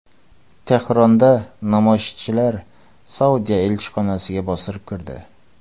Tehronda namoyishchilar Saudiya elchixonasiga bostirib kirdi.